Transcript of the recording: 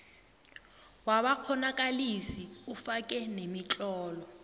wabakghonakalisi ufake nemitlolo